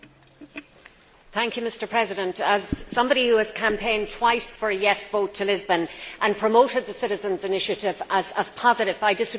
Mr President, as somebody who has campaigned twice for a yes' vote to Lisbon and promoted the citizens' initiative as positive, I disagree with my colleague.